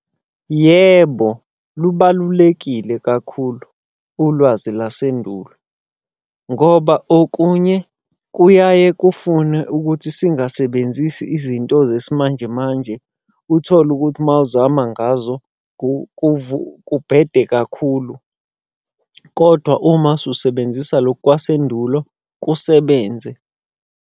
Yebo, lubalulekile kakhulu ulwazi lasendulo. Ngoba okunye kuyaye kufune ukuthi singasebenzisi izinto zesimanje manje, uthole ukuthi mawuzama ngazo kubhede kakhulu. Kodwa uma ususebenzisa lokhu kwasendulo kusebenze.